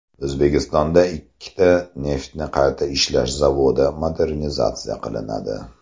O‘zbekistonda ikkita neftni qayta ishlash zavodi modernizatsiya qilinadi.